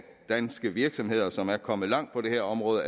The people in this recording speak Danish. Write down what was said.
danske virksomheder som er kommet langt på det her område